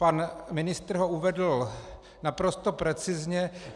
Pan ministr ho uvedl naprosto precizně.